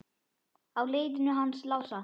Á leiðinu hans Lása?